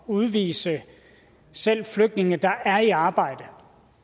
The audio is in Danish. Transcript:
udvise selv flygtninge der er i arbejde